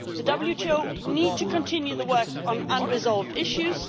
clear. The WTO needs to continue the work on unresolved issues.